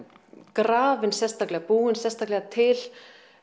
grafin sérstaklega búin sérstaklega til